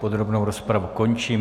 Podrobnou rozpravu končím.